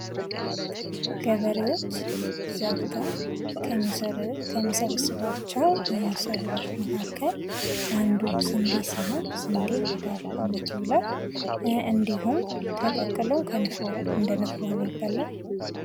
ገበሬዎች ዘርተው ከሚሰበስቧቸው እህሎች መካከል አንዱ ስንዴ ነው ፤ ለዳቦነት ይውላል፥ እንዲሁም ተቀቅሎ እንደ ንፍሮ ተደርጎ ይበላል።